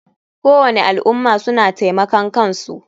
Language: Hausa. Kowani al ummah suna taimakan kansu.